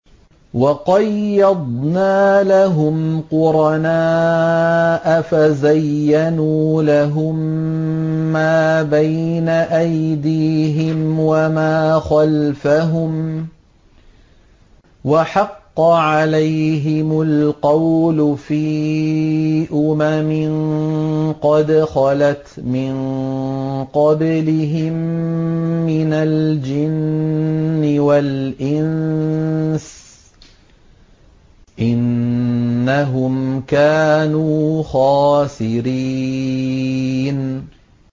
۞ وَقَيَّضْنَا لَهُمْ قُرَنَاءَ فَزَيَّنُوا لَهُم مَّا بَيْنَ أَيْدِيهِمْ وَمَا خَلْفَهُمْ وَحَقَّ عَلَيْهِمُ الْقَوْلُ فِي أُمَمٍ قَدْ خَلَتْ مِن قَبْلِهِم مِّنَ الْجِنِّ وَالْإِنسِ ۖ إِنَّهُمْ كَانُوا خَاسِرِينَ